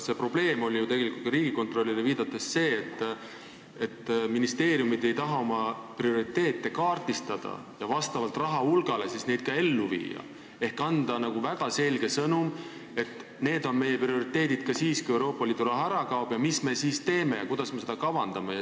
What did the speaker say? Aga probleem, tegelikult ka Riigikontrollile viidates, oli see, et ministeeriumid ei taha oma prioriteete kaardistada ja vastavalt rahahulgale neid ellu viia ehk anda väga selge sõnum, et need on meie prioriteedid ka siis, kui Euroopa Liidu raha ära kaob, ja mis me siis teeme ning kuidas me seda kavandame.